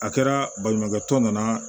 A kɛra baɲumankɛ tɔn nana